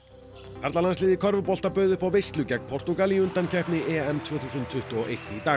karlalandsliðið í körfubolta bauð upp á veislu gegn Portúgal í undankeppni EM tvö þúsund tuttugu og eitt í dag